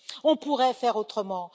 On pourrait faire autrement.